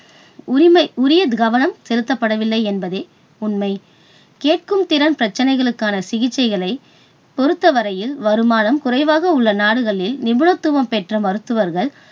உரிமை உரிய கவனம் செலுத்தப்படவில்லை என்பதே உண்மை. கேட்கும் திறன் பிரச்சனைகளுக்கான சிகிச்சைகளை பொருத்தவரையில் வருமானம் குறைவாக உள்ள நாடுகளில் நிபுணத்துவம் பெற்ற மருத்துவர்கள்